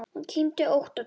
Hún kyngdi ótt og títt.